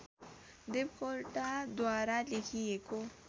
देवकोटाद्वारा लेखिएको